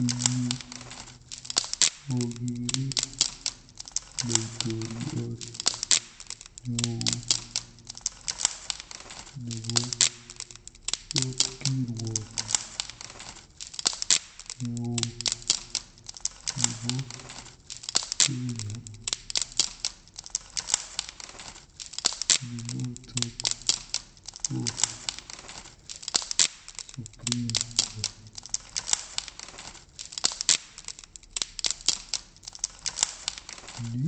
Eng yu akeere laitoriat neoo nebo kapkiruok neoo nebo Kenya ne notok ko Supreme Court. Ni